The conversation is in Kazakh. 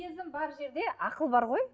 сезім бар жерде ақыл бар ғой